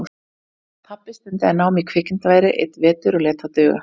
Pabbi stundaði nám í kvikmyndaveri einn vetur og lét það duga.